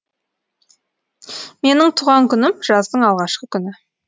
менің туған күнім жаздың алғашқы күні